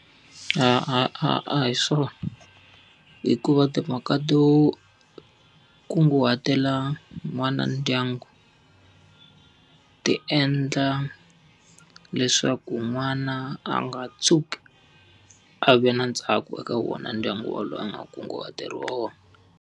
A a a a hi swona hikuva timhaka to kunguhatela n'wana ndyangu, ti endla leswaku n'wana a nga tshuki a ve na ntsako eka wona ndyangu walowo a nga kunguhateriwa wona.